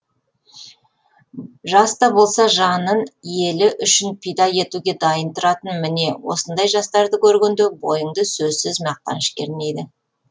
жаста болса жанын елі үшін пида етуге дайын тұратын міне осындай жастарды көргенде бойыңды сөзсіз мақтаныш кернейді